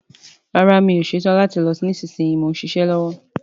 Rárá, mi ò ṣetán láti lọ nísinsìnyí, mò ń ṣiṣẹ́ lọ́wọ́